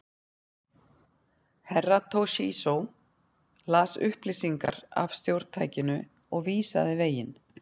Herra Toshizo las upplýsingar af stjórntækinu og vísaði veginn.